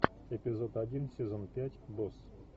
эпизод один сезон пять босс